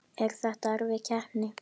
Er þetta erfið keppni?